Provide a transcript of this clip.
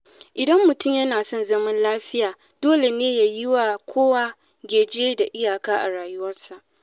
Idan mutum yana son zama lafiya, dole ne ya yiwa kowa geji da iyaka a rayuwarsa.